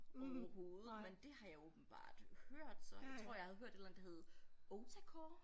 Overhovedet men det har jeg åbenbart hørt så jeg tror jeg havde hørt et eller andet der hed otacore